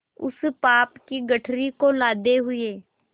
उस पाप की गठरी को लादे हुए